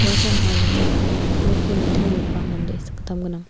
uasan ongaigija uako nitimenggipa mande sakgittam gnang.